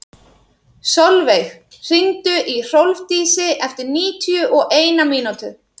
Solveig, hringdu í Hrólfdísi eftir níutíu og eina mínútur.